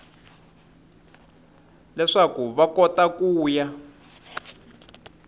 leswaku va kota ku ya